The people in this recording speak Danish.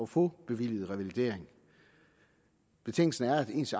få bevilliget revalidering betingelsen er at ens